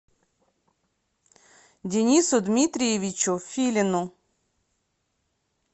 денису дмитриевичу филину